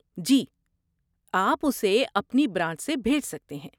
جی، اپ اسے اپنی برانچ سے بھیج سکتے ہیں۔